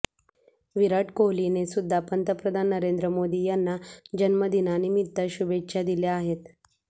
विराट कोहलीने सुद्धा पंतप्रधान नरेंद्र मोदी यांना जन्म दिनानिमित्त शुभेच्छा दिल्या आहेत